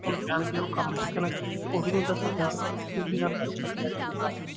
ਹੁਣ ਜਾ ਕੇ ਉਹ ਕੰਮ ਸਿੱਖਣ ਤੇ ਉਹ ਵੀ ਨੀ ਉਹਨਾਂ ਦਾ ਸਰਦਾ ਕਿਉਂਕਿ